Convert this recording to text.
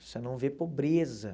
você não vê pobreza.